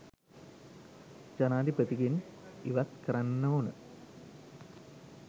ජනාධිපතිගෙන් ඉවත් කරන්න ඕන